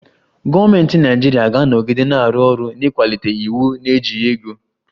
Gọọmentị Naịjirịa ga-anọgide na-arụ ọrụ n'ịkwalite iwu na-ejighị ego